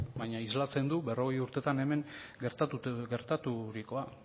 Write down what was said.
baina islatzen du berrogei urtetan hemen gertaturikoa